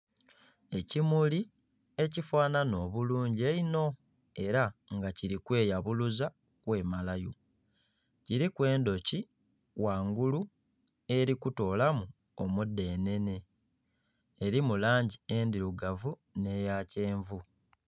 Ekimuli ekifanana obulungi einho era nga kiri kwe yabuluza kwe malayo, kirimu endhoki ghangulu eri kutoolamu omu dhenene erimu langi endhirugavu nhe eya kyenvu.